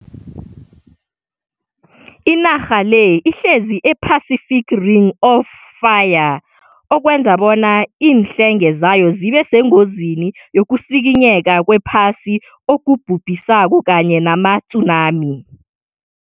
Inarha le ihlezi e-Pacific Ring of Fire, okwenza bona iinhlenge zayo zibe sengozini yokusikinyeka kwephasi okubhubhisako kanye nama-tsunami.